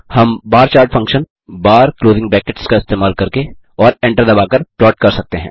हम bar chart function bar का इस्तेमाल करके और एंटर दबाकर प्लॉट कर सकते हैं